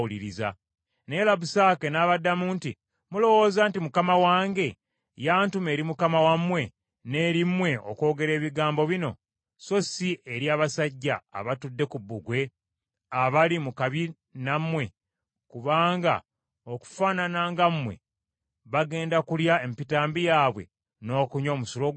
Naye Labusake n’abaddamu nti, “Mulowooza nti mukama wange yantuma eri mukama wammwe n’eri mmwe okwogera ebigambo bino, so si eri abasajja abatudde ku bbugwe, abali mu kabi nammwe kubanga okufaanana nga mmwe bagenda kulya empitambi yaabwe n’okunywa omusulo gwabwe?”